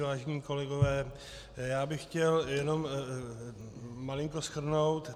Vážení kolegové, já bych chtěl jenom malinko shrnout.